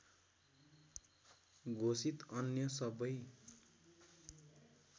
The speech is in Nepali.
घोषित अन्य सबै